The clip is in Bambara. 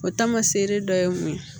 O taamasere dɔ ye mun ye